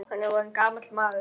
Hann er orðinn gamall maður.